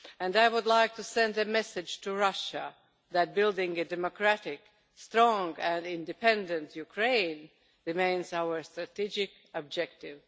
I would also like to send a message to Russia that building a democratic, strong and independent Ukraine remains our strategic objective.